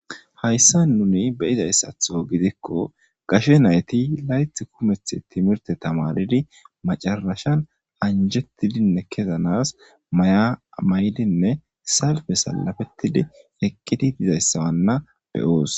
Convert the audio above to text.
hayssa nuni beyizayssatho gidikko gashe nayti layth kumeth timirte tamaridi macarashan anjettidinne kezanas mayamaydinne salfe salafettidi ekqidi dizayssawanna beyoos